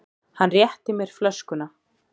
Hann rétti mér flöskuna.